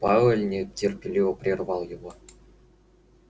пауэлл нетерпеливо прервал его